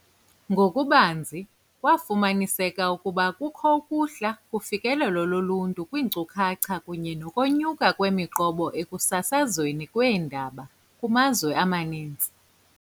Ngokubanzi, kwafuma niseka ukuba kukho ukuhla kufikelelo loluntu kwiinkcukacha kunye nokonyuka kwemiqobo ekusasazweni kweendaba kumazwe amaninzi.